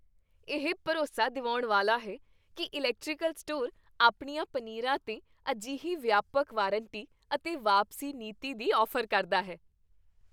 ਇਹ ਭਰੋਸਾ ਦਿਵਾਉਣ ਵਾਲਾ ਹੈ ਕਿ ਇਲੈਕਟ੍ਰੀਕਲ ਸਟੋਰ ਆਪਣੀਆਂ ਪਨੀਰਾਂ 'ਤੇ ਅਜਿਹੀ ਵਿਆਪਕ ਵਾਰੰਟੀ ਅਤੇ ਵਾਪਸੀ ਨੀਤੀ ਦੀ ਔਫ਼ਰ ਕਰਦਾ ਹੈ।